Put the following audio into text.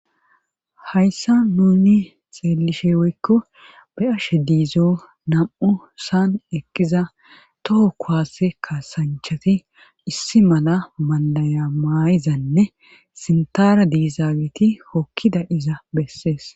hayssa nuni xeelishe woykko baashe diizo nam7u saan eqqiza toho kuwase kaasanchati issi mala mandayamayizanne sintara diisaagiti hokkida iza bessees